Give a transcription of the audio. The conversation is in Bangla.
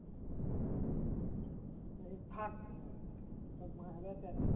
থাক বাড়া এসব বাড়া